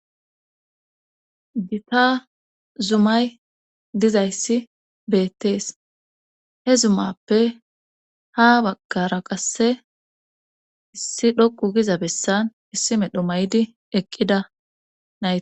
Gita zumay dizayssi beettees he zumappe ha baggara qasse issi dhoqu giza bessan issi medho maydi eqqida.